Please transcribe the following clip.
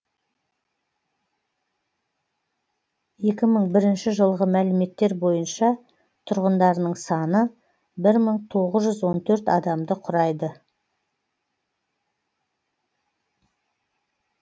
екі мың бірінші жылғы мәліметтер бойынша тұрғындарының саны бір мың тоғыз жүз он төрт адамды құрайды